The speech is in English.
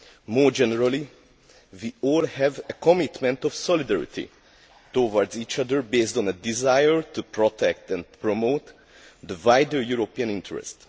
More generally, we all have a commitment of solidarity towards each other, based on a desire to protect and promote the wider European interest.